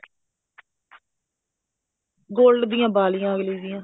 gold ਦੀਆਂ ਵਾਲੀਆਂ ਅਗਲੀ ਦੀਆਂ